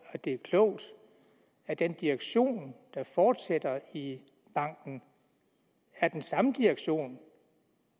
det er klogt at den direktion der fortsætter i banken er den samme direktion